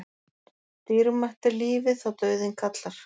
Dýrmætt er lífið þá dauðinn kallar.